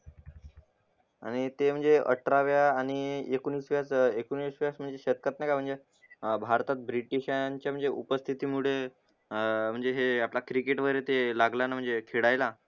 आणि ते म्हणजे अठराव्या आणी एकोणीसव्या अं एकोणिसाव्या शतकात नाय का म्हणजे अं भारतात ब्रिटिशांच्या उपस्थिती मुळे अं म्हणजे हे आपला क्रिकेट वगैरे ते लागला ना म्हणजे खेळायला